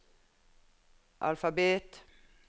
alfabet